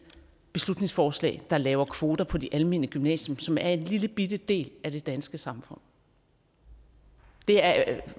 beslutningsforslag der laver kvoter på de almene gymnasier som er en lillebitte del af det danske samfund det er